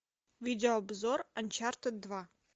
видео обзор анчартед два